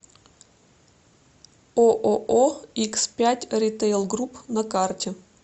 ооо икс пять ритейл групп на карте